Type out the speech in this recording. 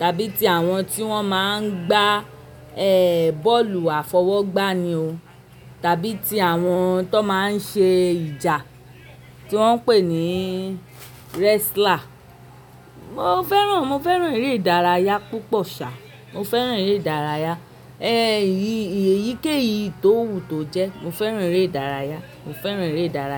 tàbí ti àwọn tí wọ́n máa ń gbà bọ́ọ̀lù àfọwọ́gbá ni o, tàbí ti àwọn tó máa ń ṣe ìjà tí wón pè ní restla. Mo fẹ́ràn, mo fẹ́ràn eré ìdárayá púpọ̀ sa, mo fẹ́ràn eré ìdárayá. Èyí èyíkéyìí tó wù tó jẹ mo fẹ́ràn eré ìdárayá mo fẹ́ràn eré ìdárayá.